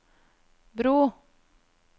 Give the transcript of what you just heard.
bro